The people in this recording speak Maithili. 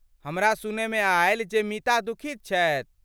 हमरा सुनयमे आयल जे मीता दुखित छथि।